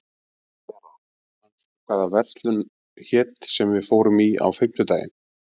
Vera, manstu hvað verslunin hét sem við fórum í á fimmtudaginn?